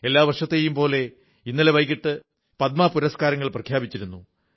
എല്ലാ വർഷത്തെയും പോലെ ഇന്നലെ വൈകിട്ട് പദ്മ പുരസ്കാരങ്ങൾ പ്രഖ്യാപിച്ചിരിക്കുന്നു